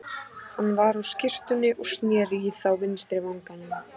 Hann var á skyrtunni og sneri í þá vinstri vanganum.